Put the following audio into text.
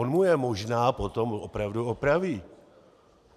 On mu je možná potom opravdu opraví.